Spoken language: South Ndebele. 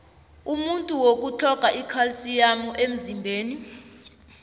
umuntu woku utlhoga ikhalsiyamu emzimbeni